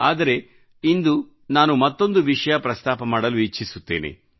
ಆದರೆ ಇಂದು ನಾನು ಮತ್ತೊಂದು ವಿಷಯ ಪ್ರಸ್ತಾಪ ಮಾಡಲು ಇಚ್ಛಿಸುತ್ತೇನೆ